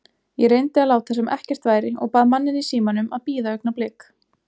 Ég reyndi að láta sem ekkert væri og bað manninn í símanum að bíða augnablik.